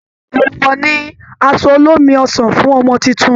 Èèwọ̀ ni aṣọ olómi ọsàn fún Ọmọ tuntun